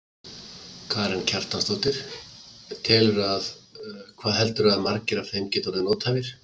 Karen Kjartansdóttir: Telurðu að, hvað heldurðu að margir af þeim geti orðið nothæfir?